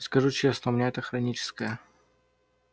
и скажу честно у меня это хроническое